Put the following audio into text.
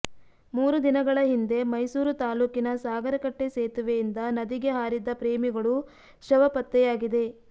ಮೂರು ದಿನಗಳ ಹಿಂದೆ ಮೈಸೂರು ತಾಲ್ಲೂಕಿನ ಸಾಗರಕಟ್ಟೆ ಸೇತುವೆಯಿಂದ ನದಿಗೆ ಹಾರಿದ್ದ ಪ್ರೇಮಿಗಳು ಶವ ಪತ್ತೆಯಾಗಿದೆ